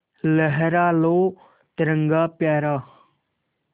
लहरा लो तिरंगा प्यारा